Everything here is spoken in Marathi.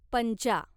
पंचा